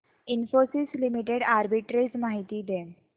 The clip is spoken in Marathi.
इन्फोसिस लिमिटेड आर्बिट्रेज माहिती दे